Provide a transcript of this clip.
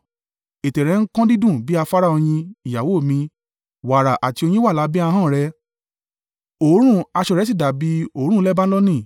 Ètè rẹ ń kan dídùn bí afárá oyin, ìyàwó mi; wàrà àti oyin wà lábẹ́ ahọ́n rẹ. Òórùn aṣọ rẹ sì dàbí òórùn Lebanoni.